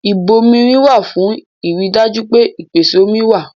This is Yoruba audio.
Ìbomirin wà fún ìrì dájú pé ìpèsè omi wa